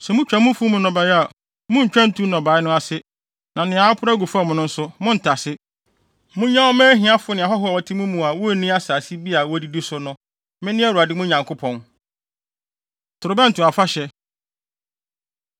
“ ‘Sɛ mutwa mo mfuw mu nnɔbae a, munntwa ntu nnɔbae no ase, na nea aporow agu fam no nso, monntase. Munnyaw mma ahiafo ne ahɔho a wɔte mo mu a wonni asase bi a wodidi so no. Mene Awurade mo Nyankopɔn!’ ” Torobɛnto Afahyɛ